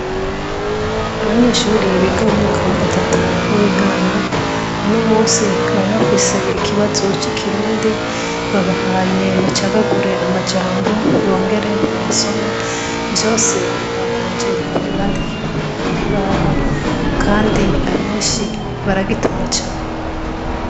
Abanyeshure biga mu mwaka wa gatatu w'intango uno munsi bari bafise ikibazo c'ikirundi babahaye bacagagure amajambo bongere bayasome vyose babanje kubibandikira ku kibaho kandi abenshi baragitora cane.